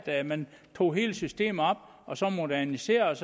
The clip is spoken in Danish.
at man tog hele systemet op og så moderniserede